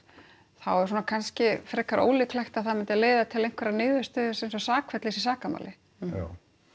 þá er svona kannski frekar ólíklegt að það myndi leiða til einhverrar niðurstöðu eins og sakfellis í sakamáli já